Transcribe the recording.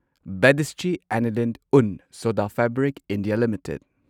Badische Anilin und Sodafabrik India limited